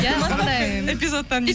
иә сондай эпизодтан